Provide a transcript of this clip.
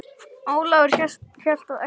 Ólafur hélt á exi.